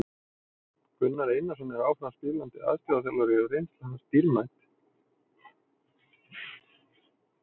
Gunnar Einarsson er áfram spilandi aðstoðarþjálfari og reynsla hans dýrmæt.